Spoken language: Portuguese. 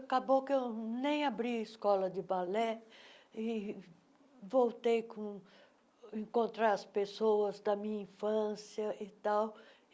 Acabou que eu nem abri escola de balé e voltei com encontrar as pessoas da minha infância e tal.